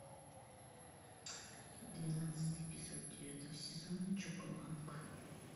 двенадцатый эпизод девятого сезона чоко банк